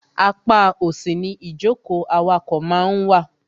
Apá òsì ni ìjókòó awakọ̀ máa ń wà.